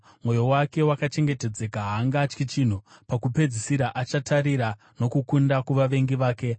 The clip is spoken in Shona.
Mwoyo wake wakachengetedzeka, haangatyi chinhu; pakupedzisira achatarira nokukunda kuvavengi vake.